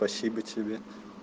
спасибо тебе